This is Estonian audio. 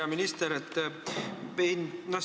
Hea minister!